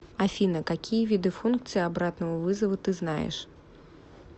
афина какие виды функции обратного вызова ты знаешь